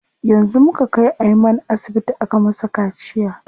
Yanzu muka kai Ayman asibiti aka masa kaciya.